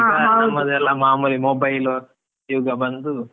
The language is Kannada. ಮಾಮೂಲಿ mobile ಯುಗ ಬಂದು.